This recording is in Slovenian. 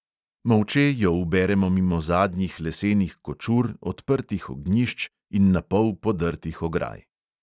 Molče jo uberemo mimo zadnjih lesenih kočur, odprtih ognjišč in napol podrtih ograj.